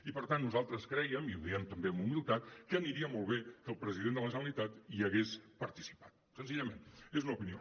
i per tant nosaltres crèiem i ho diem també amb humilitat que aniria molt bé que el president de la generalitat hi hagués participat senzillament és una opinió